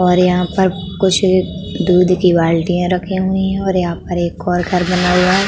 और यहाँ पर कुछ दूध की बाल्टियाँ रखी हुई हैं और यहाँ पर एक और घर बना हुआ है।